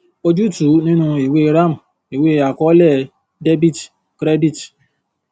ojútùú nínú ìwée ram ìwé àkọọlẹ dr cr